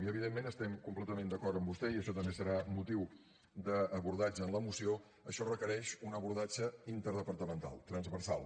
i evidentment estem completament d’acord amb vostè i això també serà motiu d’abordatge en la moció això requereix un abordatge interdepartamental transversal